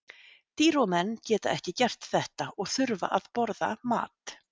Dýr og menn geta ekki gert þetta og þurfa að borða mat.